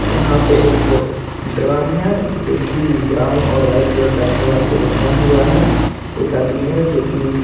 यहाँ पे एक ड्रम हैंजो कि ब्राउन और वाइट कलर का धागा से बंधा हुआ है एक आदमी है जो की----